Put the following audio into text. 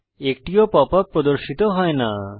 একটিও pop up প্রদর্শিত হয় না